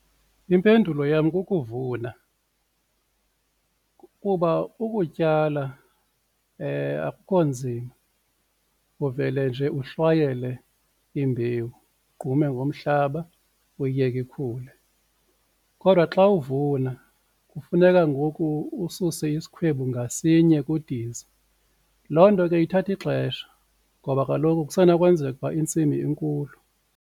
Impendulo yam kukuvuna kuba ukutyala akukho nzima uvele nje uhlwayele imbewu, ugqume ngomhlaba uyiyeke ikhule. Kodwa xa uvuna kufuneka ngoku ususe isikhwebu ngasinye kudiza loo nto ke ithatha ixesha ngoba kaloku kusenokwenzeka ukuba intsimi inkulu.